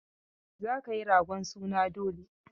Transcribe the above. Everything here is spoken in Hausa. Za ka yi ragon suna dole!